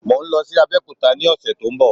Mò ń lọ sí Abẹ́òkúta ni ọ̀sẹ̀ tó ń bọ̀